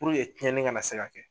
Puruke cɛnni ka na se ka kɛ.